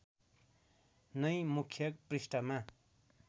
नै मुख्य पृष्ठमा